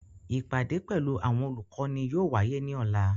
Ipade pẹlu awọn olukọni yóò waye ni ọla.